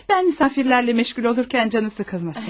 Bən misafirlərlə məşğul olurkən canı sıxılmasın.